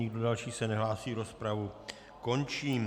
Nikdo další se nehlásí, rozpravu končím.